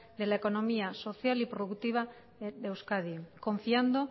de la economía social y productiva de euskadi confiando